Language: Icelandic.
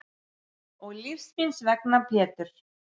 Og lífs míns vegna Pétur.